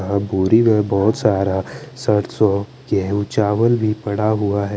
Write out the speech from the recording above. यहाँ बोरी और में बोहोत सारा सरसु गेहू चावल भी पड़ा हुआ है।